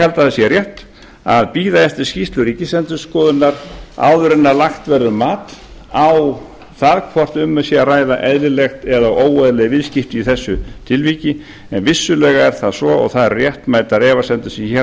held að það sé rétt að bíða eftir skýrslu ríkisendurskoðunar áður en lagt verður mat á það hvort um sé að ræða eðlileg eða óeðlileg viðskipti í þessu tilviki en vissulega er það svo og það eru réttmætar efasemdir sem hér